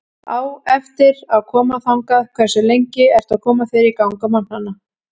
Á eftir að koma þangað Hversu lengi ertu að koma þér í gang á morgnanna?